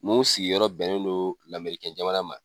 Mun sigiyɔrɔ bɛnnen don lamerikɛn jamana ma